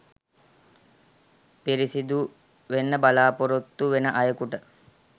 පිරිසුදු වෙන්න බලාපොරොත්තු වෙන අයෙකුට